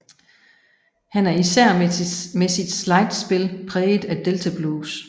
Han er især med sit slidespil præget af delta blues